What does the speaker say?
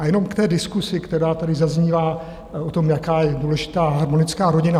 A jenom k té diskusi, která tady zaznívá o tom, jaká je důležitá harmonická rodina.